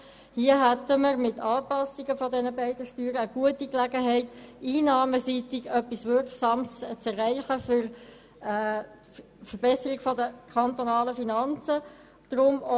Hier hätte man mit der Anpassung dieser beiden Steuern eine gute Gelegenheit, einnahmenseitig etwas Wirksames zu erreichen, um die kantonalen Finanzen zu verbessern.